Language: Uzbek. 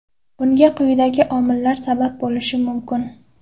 Bunga quyidagi omillar sabab bo‘lishi mumkin.